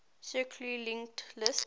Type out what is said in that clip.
circularly linked list